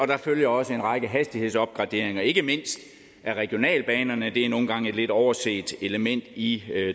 der følger også en række hastighedsopgraderinger ikke mindst af regionalbanerne det er nogle gange et lidt overset element i